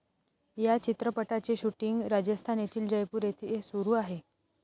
या चित्रपटाचे शूटींग राजस्थान येथील जयपूर येथे सुरू आहे.